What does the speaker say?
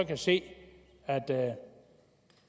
kan se at